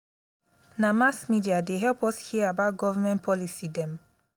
na mass media dey help us hear about government policy dem.